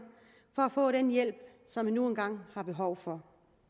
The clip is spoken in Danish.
for den hjælp som man nu engang har behov for